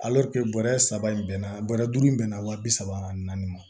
bɔrɛ saba in bɛnna bɔrɛ duuru in bɛ na wa bi saba ani naani ma